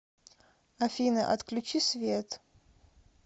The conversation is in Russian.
афина отключи свет